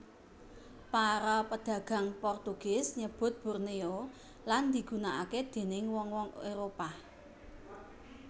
Para pedagang Portugis nyebut Borneo lan digunaaké déning wong wong Éropah